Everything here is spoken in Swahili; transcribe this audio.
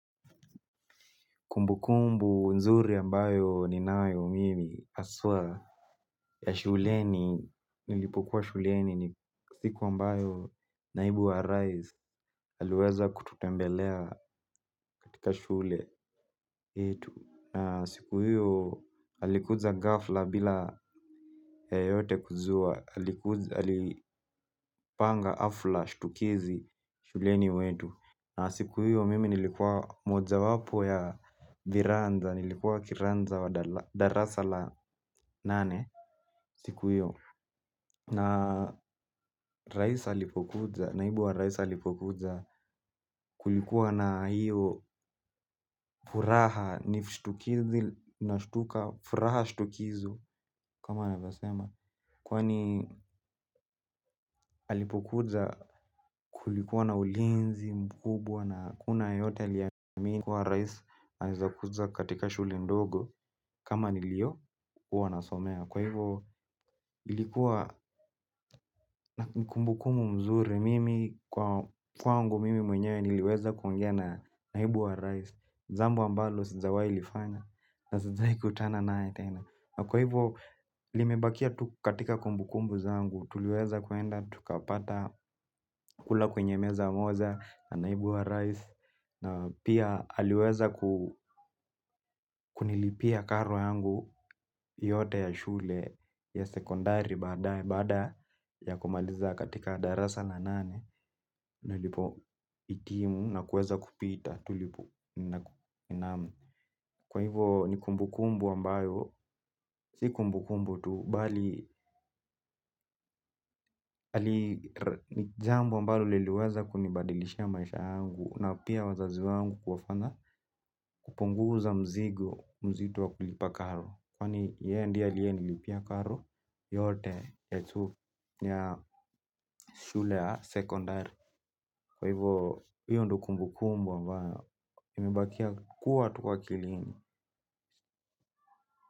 Kumbukumbu nzuri ambayo ninayo mimi haswa ya shuleni nilipokuwa shuleni ni siku ambayo naibu wa rais aliweza kututembelea katika shule. Na siku hiyo alikuja ghafla bila yeyote kujua alipanga hafla shtukizi shuleni wetu. Na siku hiyo mimi nilikuwa mojawapo ya viranja, nilikuwa kiranja wa darasa la nane siku hiyo. Na rais alipokuja, naibu wa rais alipokuja kulikuwa na hio furaha ni shtukizi nashtuka furaha shtukizo kama anavyosema. Kwani alipokuja kulikuwa na ulinzi mkubwa na hakuna yeyote aliyeamini kuwa rais, anawezakuja katika shule ndogo kama niliyokuwa nasomea. Kwa hivyo, ilikuwa kumbukumbu mzuri. Mimi, kuwangu mimi mwenyewe niliweza kuongea na naibu wa rais jambo ambalo, sijawahi lifanya. Na sijawahi kukutana na yeye tena. Kwa hivyo, limebakia tu katika kumbukumbu zangu. Tuliweza kuenda, tukapata kula kwenye meza moja na naibu wa rais. Na pia aliweza kunilipia karo yangu yote ya shule ya sekondari baada ya kumaliza katika darasa na nane. Nilipohitimu na kuweza kupita naam. Kwa hivyo ni kumbukumbu ambayo, si kumbukumbu tu, bali ni jambo ambalo liliweza kunibadilishia maisha yangu na pia wazazi wangu kuwafanya kupunguza mzigo nzito wa kulipa karo kwani yeye ndiye aliyenilipia karo yote ya shule ya sekondari kwa hivyo hiyo ndio kumbukumbu ambayo imebakia kuwa tu kwa akilini.